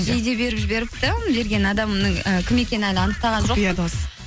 жейде беріп жіберіпті берген адамның і кім екені әлі анықтаған